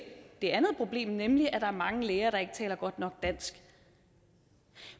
det andet problem nemlig at der er mange læger der ikke taler godt nok dansk